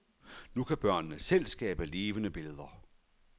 Nu kan børnene selv skabe levende billeder.